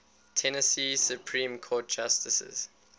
tennessee supreme court justices